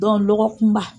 lɔgɔkunba